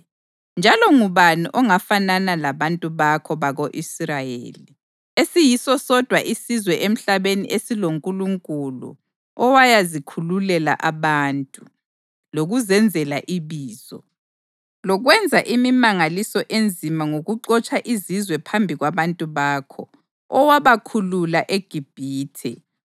Njalo ngubani ongafanana labantu bakho bako-Israyeli esiyiso sodwa isizwe emhlabeni esiloNkulunkulu owayazikhululela abantu, lokuzenzela ibizo, lokwenza imimangaliso enzima ngokuxotsha izizwe phambi kwabantu bakho, owabakhulula eGibhithe?